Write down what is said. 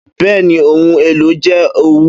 Bẹni, ohun elo jẹ owu.